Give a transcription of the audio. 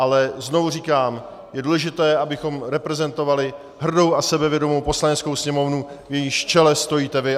Ale znovu říkám, je důležité, abychom reprezentovali hrdou a sebevědomou Poslaneckou sněmovnu, v jejímž čele stojíte vy.